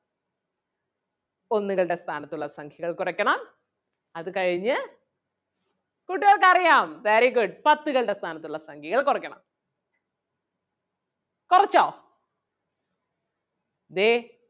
ഒന്നുകളുടെ സ്ഥാനത്തുള്ള സംഖ്യകൾ കുറയ്ക്കണം അത് കഴിഞ്ഞ് കൂട്ടുകാർക്ക് അറിയാം very good പത്തുകളുടെ സ്ഥാനത്തുള്ള സംഖ്യകൾ കുറയ്ക്കണം. കൊറച്ചോ ദേ